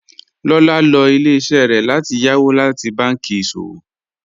Lọ́lá lọ ilẹ̀-iṣẹ rẹ láti yàwó láti bànki iṣọwọ